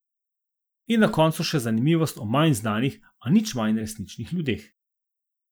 In na koncu še zanimivost o manj znanih, a nič manj resničnih ljudeh.